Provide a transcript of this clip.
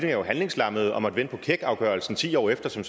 jo handlingslammede og måtte vente på keckafgørelsen ti år efter som